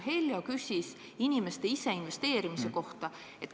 Heljo küsis inimeste ise investeerimise kohta.